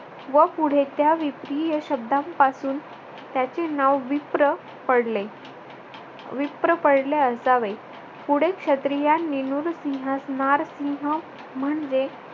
व पुढे त्या विप्रिय शब्दापासून त्याचे नाव विप्र पडले. विप्र पडले असावे. पुढे क्षत्रियांनी नुरसिहास नारसिंह म्हणजे